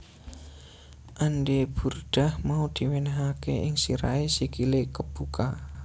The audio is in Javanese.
Andai burdah mau diwenehake ing sirahe sikile kebuka